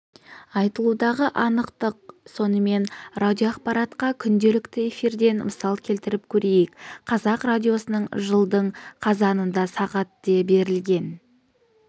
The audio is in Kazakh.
айтылудағы анықтық сонымен радиоақпаратқа күнделікті эфирден мысал келтіріп көрейік қазақ радиосының жылдың қазанында сағат де берілген